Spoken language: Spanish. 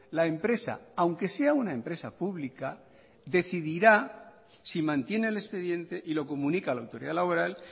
la empresa aunque sea una empresa pública decidirá si mantiene el expediente y lo comunica a la autoridad laboral